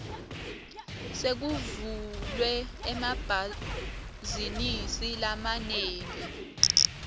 sekuvulwe emabhazinisi lamanengi